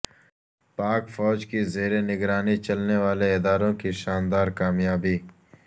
پاک فوج کی زیر نگرانی چلنے والے اداروں کی شاندار کامیابی